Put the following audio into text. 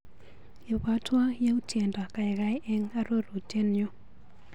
Ibwatwa yautyendo kaikai eng arorutienyu.